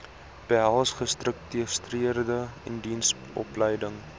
behels gestruktureerde indiensopleiding